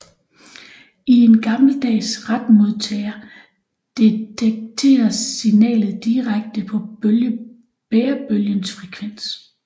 I en gammeldags retmodtager detekteres signalet direkte på bærebølgens frekvens